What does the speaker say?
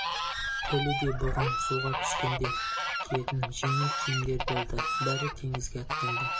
хеллидэй бұған суға түскенде киетін жеңіл киімдер берді бәрі теңізге аттанды